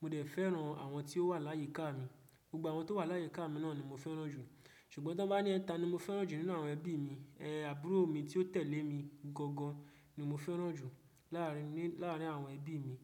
Mo dẹ̀ fẹ́ràn àwọn tí ó wà láyíká mi. Gbogbo àwọn tó wà láyíká mi náà ni mo fẹ́ràn jù. Ṣùgbọ́n tí wọ́n bá ní ta ni mo fẹ́ràn jù nínú àwọn ẹbí mi, ẹ, àbúrò mi tí ó tẹ̀lé mi gangan ni mo fẹ́ràn jù láàárín, láàárín àwọn ẹbí mi.